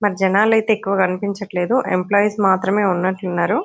మరి జనాలు అయితే ఎక్కువగా కనిపించట్లేదు ఎంప్లాయిస్ మాత్రమే ఉన్నట్లుగా ఉన్నారు.